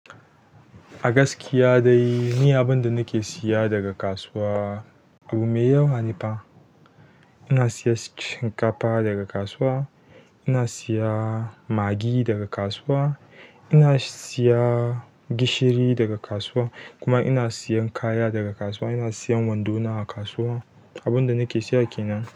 A gaskiya dai ni abinda nake siya daga kasuwa abu mai yawa ne fa ina siyen shinkafa daga kasuwa, ina siya magi daga kasuwa, ina siya gishiri daga kasuwa kuma ina siyan kaya daga kasuwa ina siyen wando na daga kasuwa abinda nake siya kenan.